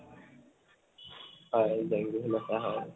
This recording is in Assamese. হয়, জেং বিহু নাচা হয়